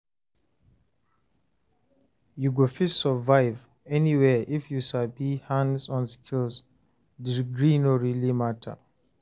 You go fit survive anywhere if you sabi hands-on skills, degree no really mata.